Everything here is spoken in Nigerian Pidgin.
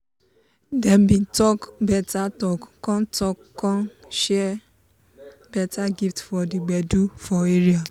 dem bin talk beta talk con talk con shar beta gift for d gbedu for area.